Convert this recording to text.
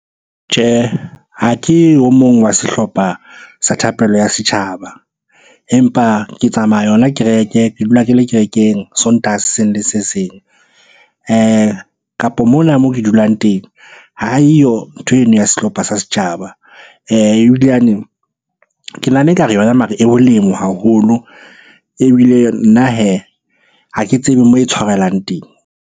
Tjhehe, ha ke o mong wa sehlopha sa thapelo ya setjhaba. Empa ke tsamaya yona kereke, ke dula ke le kerekeng Sontaha se seng le se seng. Kapo mona moo ke dulang teng ha eyo ntho eno ya sehlopha sa setjhaba. Ebilane ke nahana ekare yona mara e haholo, ebile nna hee ha ke tsebe moo e tshwarelang teng.